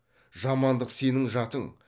жамандық сенің жатың